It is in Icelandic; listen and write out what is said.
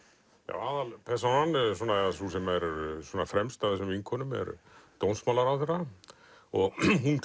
aðalpersónan eða sú sem er fremst af þessum vinkonum er dómsmálaráðherra og